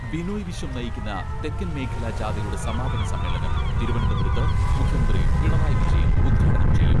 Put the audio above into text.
ബിനോയ് വിശ്വം നയിക്കുന്ന തെക്കൻ മേഖലാ ജാഥയുടെ സമാപന സമ്മേളനം തിരുവനന്തപുരത്ത് മുഖ്യമന്ത്രി പിണറായി വിജയൻ ഉദ്ഘാടനം ചെയ്യും.